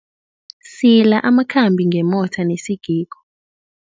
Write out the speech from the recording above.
Sila amakhambi ngemotha nesigigo.